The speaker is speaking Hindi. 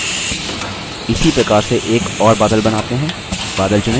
इसी प्रकार से एक और बादल बनाते हैं